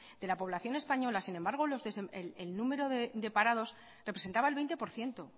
de la población española sin embargo el número de parados representaba el veinte por ciento